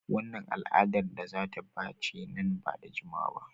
Wannan al'adar za ta bace nan ba da jimawa ba.